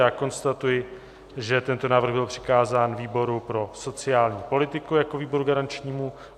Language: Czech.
Já konstatuji, že tento návrh byl přikázán výboru pro sociální politiku jako výboru garančnímu.